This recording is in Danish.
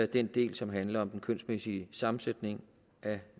den del som handler om den kønsmæssige sammensætning af